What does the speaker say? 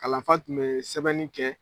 Kalan fa tun bee sɛbɛnni kɛ